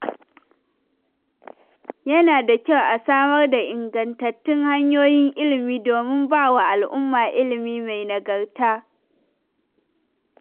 Yana da kyau a samar da ingantattun hanyoyin ilimi domin bawa al'umma ilimi mai nagarta.